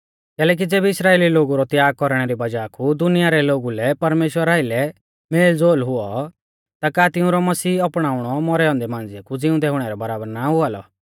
कैलैकि ज़ेबी इस्राइली लोगु रौ त्याग कौरणै री वज़ाह कु दुनिया रै लोगु लै परमेश्‍वरा आइलै मेलज़ोल हुऔ ता का तिऊंरौ मसीह अपणाउणौ मौरै औन्दै मांझ़िऐ कु ज़िउंदै हुणै रै बराबर ना हुआ लौ